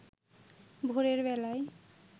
ভোরের বেলায়